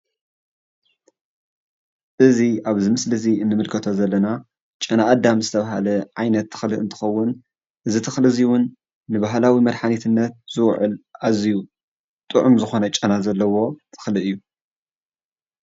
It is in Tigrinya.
እዚ ኣብዚ ምስሊ እዚ እንምልከቶ ዘለና ጨነኣዳም ዝተባሃለ ዓይነት ተኽሊ እንትከውን እዚ ተኽሊ እውን ንባህላዊ መድሓኒትነት ዝውዕል ኣዝዩ ጥዑም ዝኾነ ጨና ዘለዎ ተኽሊ እዩ፡፡